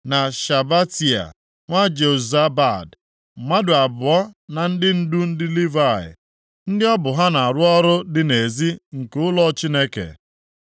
na Shabetai, na Jozabad, mmadụ abụọ na ndị ndu ndị Livayị, ndị ọ bụ ha na-arụ ọrụ dị nʼezi nke ụlọ Chineke;